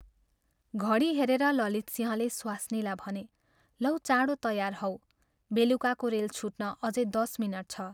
घडी हेरेर ललितसिंहले स्वास्नीलाई भने "लौ, चाँडो तयार हौ बेलुकाको रेल छुट्न अझै दश मिनट छ।